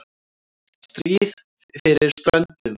STRÍÐ FYRIR STRÖNDUM